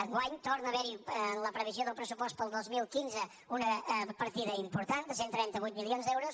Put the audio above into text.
enguany torna a haver hi en la previsió del pressupost per al dos mil quinze una partida important de cent i trenta vuit milions d’euros